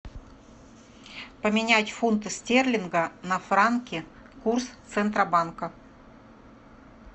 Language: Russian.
поменять фунты стерлинга на франки курс центробанка